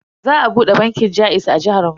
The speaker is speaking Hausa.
Za a bude bankin jaiz a jihar mu.